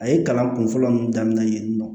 A ye kalan kun fɔlɔ mun daminɛ yen nɔ